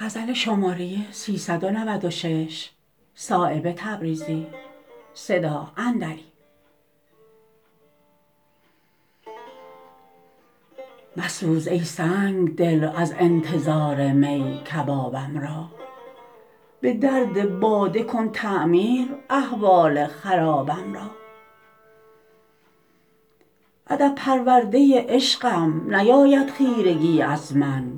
مسوز ای سنگدل از انتظار می کبابم را به درد باده کن تعمیر احوال خرابم را ادب پرورده عشقم نیاید خیرگی از من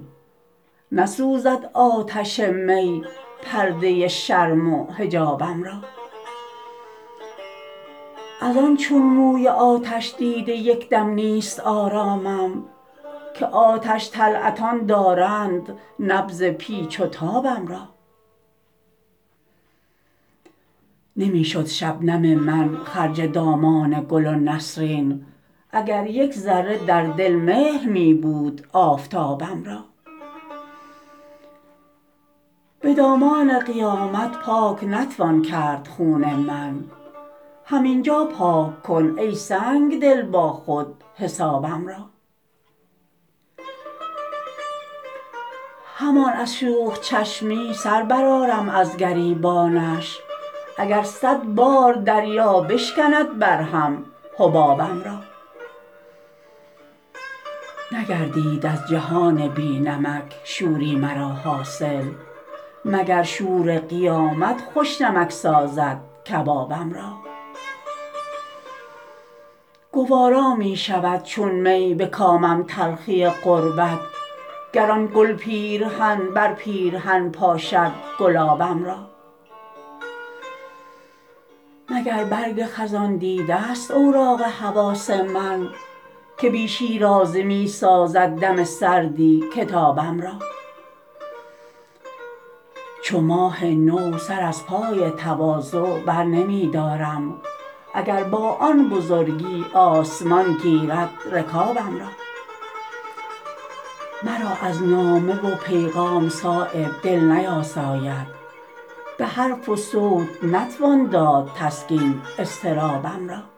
نسوزد آتش می پرده شرم و حجابم را ازان چون موی آتش دیده یک دم نیست آرامم که آتش طلعتان دارند نبض پیچ و تابم را نمی شد شبنم من خرج دامان گل و نسرین اگر یک ذره در دل مهر می بود آفتابم را به دامان قیامت پاک نتوان کرد خون من همین جا پاک کن ای سنگدل با خود حسابم را همان از شوخ چشمی سر برآرم از گریبانش اگر صدبار دریا بشکند بر هم حبابم را نگردید از جهان بی نمک شوری مرا حاصل مگر شور قیامت خوش نمک سازد کبابم را گوارا می شود چون می به کامم تلخی غربت گر آن گل پیرهن بر پیرهن پاشد گلابم را مگر برگ خزان دیده است اوراق حواس من که بی شیرازه می سازد دم سردی کتابم را چو ماه نو سر از پای تواضع بر نمی دارم اگر با آن بزرگی آسمان گیرد رکابم را مرا از نامه و پیغام صایب دل نیاساید به حرف و صوت نتوان داد تسکین اضطرابم را